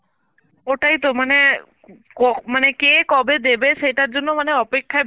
ওটাই তো মানে ক~ মানে কে কবে দেবে সেটার জন্য মানে অপেক্ষায়